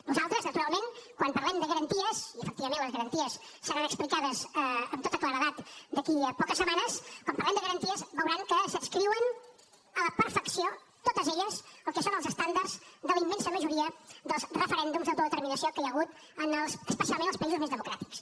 nosaltres naturalment quan parlem de garanties i efectivament les garanties seran explicades amb tota claredat d’aquí a poques setmanes veuran que s’adscriuen a la perfecció totes elles al que són els estàndards de la immensa majoria dels referèndums d’autodeterminació que hi ha hagut especialment en els països més democràtics